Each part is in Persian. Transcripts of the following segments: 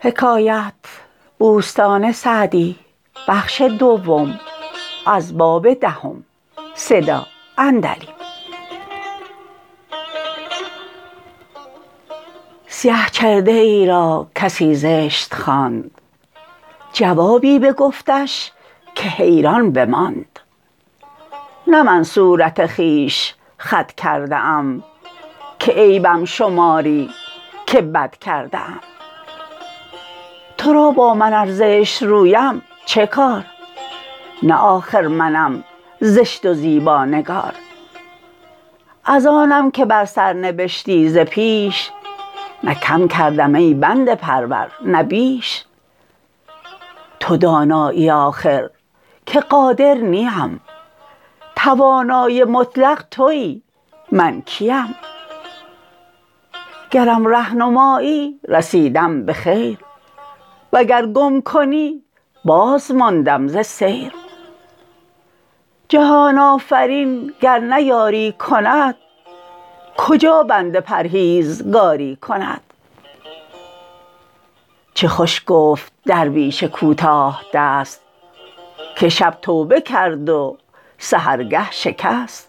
سیه چرده ای را کسی زشت خواند جوابی بگفتش که حیران بماند نه من صورت خویش خود کرده ام که عیبم شماری که بد کرده ام تو را با من ار زشت رویم چه کار نه آخر منم زشت و زیبانگار از آنم که بر سر نبشتی ز پیش نه کم کردم ای بنده پرور نه بیش تو دانایی آخر که قادر نیم توانای مطلق تویی من کیم گرم ره نمایی رسیدم به خیر وگر گم کنی باز ماندم ز سیر جهان آفرین گر نه یاری کند کجا بنده پرهیزکاری کند چه خوش گفت درویش کوتاه دست که شب توبه کرد و سحرگه شکست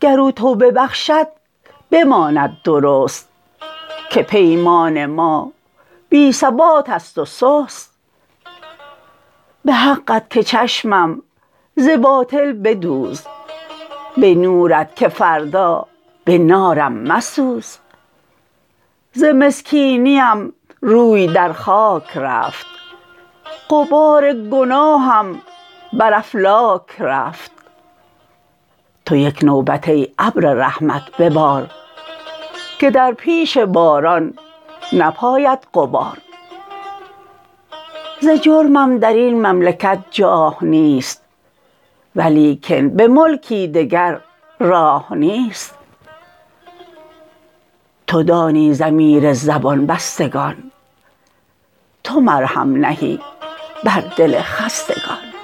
گر او توبه بخشد بماند درست که پیمان ما بی ثبات است و سست به حقت که چشمم ز باطل بدوز به نورت که فردا به نارم مسوز ز مسکینیم روی در خاک رفت غبار گناهم بر افلاک رفت تو یک نوبت ای ابر رحمت ببار که در پیش باران نپاید غبار ز جرمم در این مملکت جاه نیست ولیکن به ملکی دگر راه نیست تو دانی ضمیر زبان بستگان تو مرهم نهی بر دل خستگان